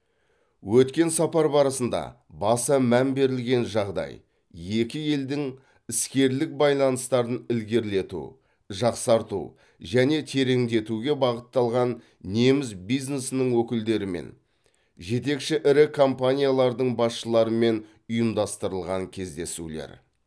өткен сапар барысында баса мән берілген жағдай екі елдің іскерлік байланыстарын ілгерілету жақсарту және тереңдетуге бағытталған неміс бизнесінің өкілдерімен жетекші ірі компаниялардың басшыларымен ұйымдастырылған кездесулер